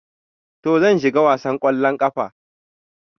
To, zan shiga wasan kwallon kafa.